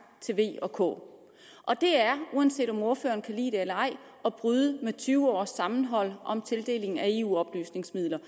til v og k det er uanset om ordføreren kan lide det eller ej at bryde med tyve års sammenhold om tildeling af eu oplysningsmidler